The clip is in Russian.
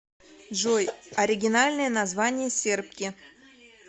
джой оригинальное название сербки